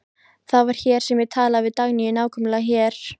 Það var hér sem ég talaði við Dagnýju, nákvæmlega hér.